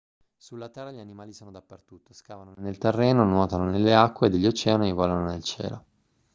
sulla terra gli animali sono dappertutto scavano nel terreno nuotano nelle acque degli oceani e volano nel cielo